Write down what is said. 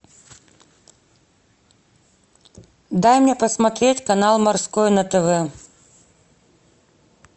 дай мне посмотреть канал морской на тв